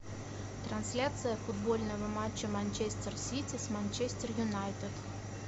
трансляция футбольного матча манчестер сити с манчестер юнайтед